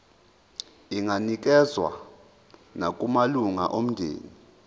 inganikezswa nakumalunga omndeni